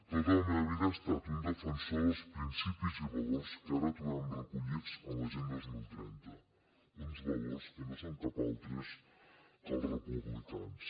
tota la meva vida he estat un defensor dels principis i valors que ara trobem recollits en l’agenda dos mil trenta uns valors que no són cap altres que els republicans